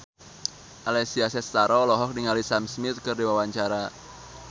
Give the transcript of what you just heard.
Alessia Cestaro olohok ningali Sam Smith keur diwawancara